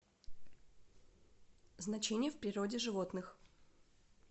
значение в природе животных